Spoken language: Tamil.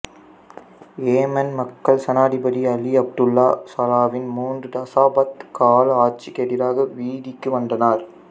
ஏமன் மக்கள் சனாதிபதி அலி அப்துல்லா சலாவின் மூன்று தசாப்த கால ஆட்சிக்கு எதிராக வீதிக்கு வந்தனர்